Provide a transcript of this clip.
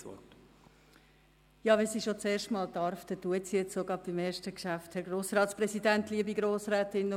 Wenn sie schon zum ersten Mal sprechen darf, dann will sie auch bei ihrem ersten Geschäft das Wort ergreifen.